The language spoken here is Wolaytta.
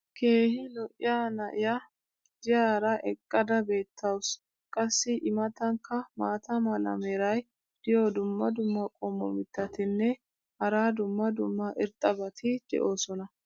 keehi lo'iya na'iyaa diyaara eqqada beetawusu. qassi i matankka maata mala meray diyo dumma dumma qommo mitattinne hara dumma dumma irxxabati de'oosona.